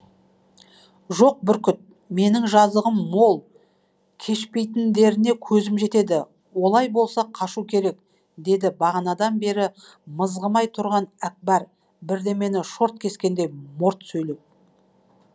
жоқ бүркіт менің жазығым мол кешпейтіндеріне көзім жетеді олай болса қашу керек деді бағанадан бері мызғымай тұрған әкпар бірдемені шорт кескендей морт сөйлеп